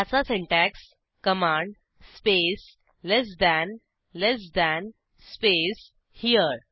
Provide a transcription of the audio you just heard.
त्याचा syntax command space less than less than space हेरे